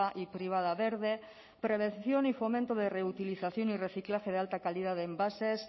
y privada verde prevención y fomento de reutilización y reciclaje de alta calidad de envases